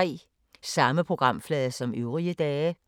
Samme programflade som øvrige dage